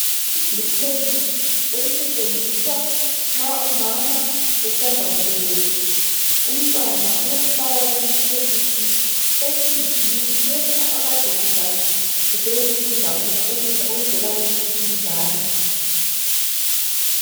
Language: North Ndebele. Liphekisi elisetshenziswa nxa umama esanda kubeletha . Umntwana uyafakwa leli phekisi ethunjini leli akade esidla esebenzisa ukudla khona ukudlaokuvela kumzali.